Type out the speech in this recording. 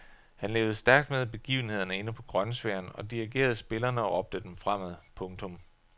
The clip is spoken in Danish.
Han levede stærkt med i begivenhederne inde på grønsværen og dirigerede spillerne og råbte dem fremad. punktum